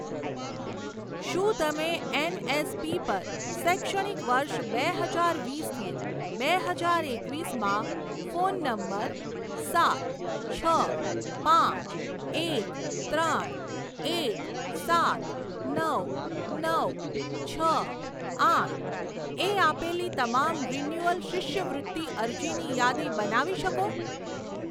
શું તમે એનએસપી પર શૈક્ષણિક વર્ષ બે હજાર વીસ થી બે હજાર એકવીસમાં ફોન નંબર સાત છ પાંચ એક ત્રણ એક સાત નવ નવ છ આઠએ આપેલી તમામ રિન્યુઅલ શિષ્યવૃત્તિ અરજીની યાદી બનાવી શકો?